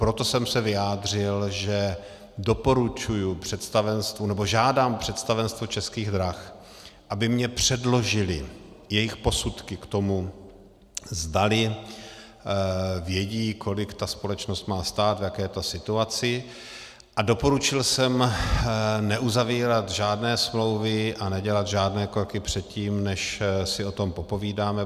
Proto jsem se vyjádřil, že doporučuji představenstvu, nebo žádám představenstvo Českých drah, aby mi předložily jejich posudky k tomu, zdali vědí, kolik ta společnost má stát, v jaké je to situaci, a doporučil jsem neuzavírat žádné smlouvy a nedělat žádné kroky předtím, než si o tom popovídáme.